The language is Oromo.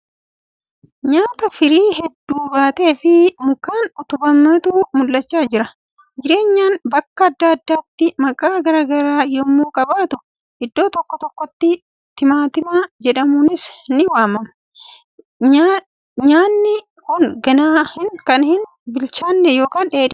Nyaanyaa firii hedduu baateefi mukaan utubametu mul'achaa jira. Nyaanyaan bakka adda addaatti maqaa garagaraa yemmuu qabaatu iddoo tokko tokkotti timaatima jedhamuunis ni waamama. Nyaanyaan kun ganaa kan hin bilchaanne yookiin dheedhidha.